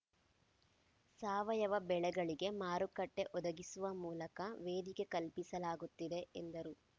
ಸಾವಯವ ಬೆಳೆಗಳಿಗೆ ಮಾರುಕಟ್ಟೆಒದಗಿಸುವ ಮೂಲಕ ವೇದಿಕೆ ಕಲ್ಪಿಸಲಾಗುತ್ತಿದೆ ಎಂದರು